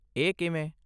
ਇਹ ਕਿਵੇਂ?